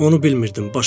Onu bilmirdim.